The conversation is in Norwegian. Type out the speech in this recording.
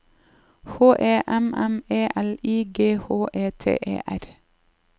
H E M M E L I G H E T E R